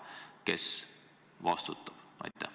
Kes vastutab?